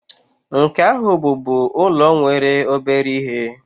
nke ahu bubu ulo nwere obere ihe